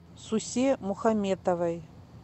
сусе мухаметовой